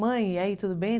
Mãe, e aí, tudo bem?